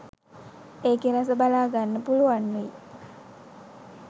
ඒකෙ රස බලාගන්න පුළුවන් වෙයි.